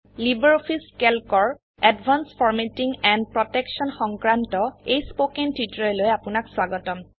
LibreOffice Calc এৰ advanced formatting and protection সংক্ৰান্ত এই স্পোকেন টিউটোৰিয়েললৈ আপোনাক স্বাগতম